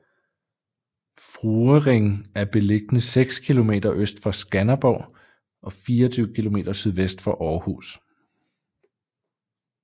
Fruering er beliggende seks kilometer øst for Skanderborg og 24 kilometer sydvest for Aarhus